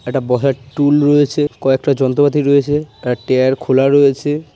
একটা বসার টুল রয়েছে কয়েকটা যন্ত্রপাতি রয়েছে আর এক ট্যায়ার খোলা রয়েছে ।